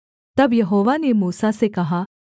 तब यहोवा ने मूसा से कहा